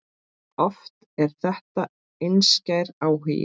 Oft er þetta einskær áhugi.